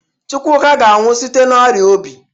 Chukwuka ga-anwụ site n'ọrịa obi.